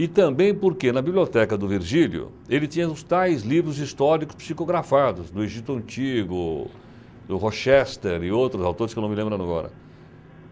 E também porque, na biblioteca do Virgílio, ele tinha os tais livros históricos psicografados, do Egito Antigo, do Rochester e outros autores que eu não me lembro agora.